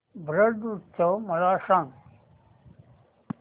ब्रज उत्सव मला सांग